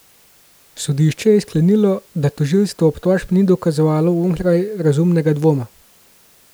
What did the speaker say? Sodišče je sklenilo, da tožilstvo obtožb ni dokazalo onkraj razumnega dvoma.